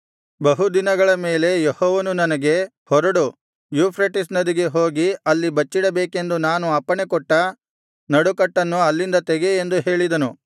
ಬಹು ದಿನಗಳ ಮೇಲೆ ಯೆಹೋವನು ನನಗೆ ಹೊರಡು ಯೂಫ್ರೆಟಿಸ್ ನದಿಗೆ ಹೋಗಿ ಅಲ್ಲಿ ಬಚ್ಚಿಡಬೇಕೆಂದು ನಾನು ಅಪ್ಪಣೆಕೊಟ್ಟ ನಡುಕಟ್ಟನ್ನು ಅಲ್ಲಿಂದ ತೆಗೆ ಎಂದು ಹೇಳಿದನು